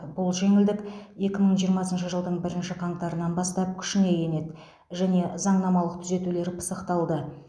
бұл жеңілдік екі мың жиырмасыншы жылдың бірінші қаңтарынан бастап күшіне енеді және заңнамалық түзетулер пысықталды